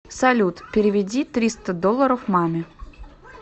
салют переведи триста долларов маме